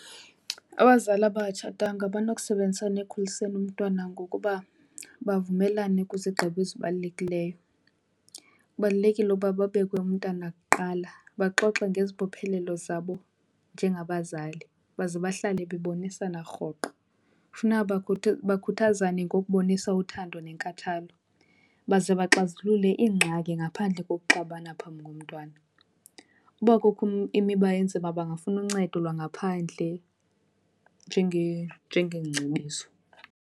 Abazali abangatshatanga banokusebenzisana ekukhuliseni umntwana ngokuba bavumelane kwizigqibo ezibalulekileyo. Kubalulekile uba babeke umntana kuqala, baxoxe ngezibophelelo zabo njengabazali baze bahlale bebonisana rhoqo. Funeka bakhuthazane ngokubonisa uthando nenkathalo baze baxazulule iingxaki ngaphandle kokuxabana phambi komntwana. Uba kukho imiba enzima bangafuna uncedo lwangaphandle njengeengcebiso.